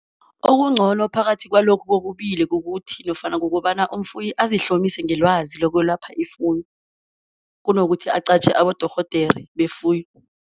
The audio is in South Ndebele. Okungcono phakathi kwalokhu kokubili kukuthi nofana kukobana umfuyi azihlomise ngelwazi lokwelapha ifuyo kunokuthi aqatjhe abodorhodere befuyo.